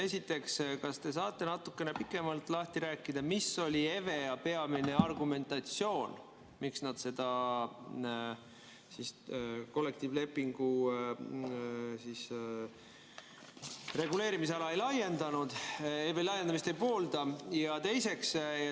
Esiteks, kas te saate natukene pikemalt lahti rääkida, mis oli EVEA peamine argumentatsioon, miks nad kollektiivlepingu reguleerimisala laiendamist ei poolda?